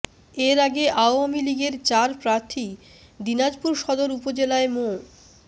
এর আগে আওয়ামী লীগের চার প্রার্থী দিনাজপুর সদর উপজেলায় মো